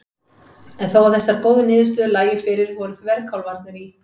En þó að þessar góðu niðurstöður lægju fyrir voru þverkálfarnir í